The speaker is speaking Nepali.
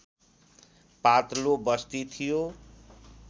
पातलो बस्ती थियो